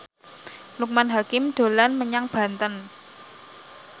Loekman Hakim dolan menyang Banten